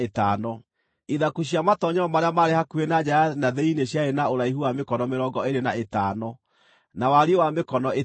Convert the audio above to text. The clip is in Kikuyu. Ithaku cia matoonyero marĩa maarĩ hakuhĩ na nja ya na thĩinĩ ciarĩ na ũraihu wa mĩkono mĩrongo ĩĩrĩ na ĩtano, na wariĩ wa mĩkono ĩtano.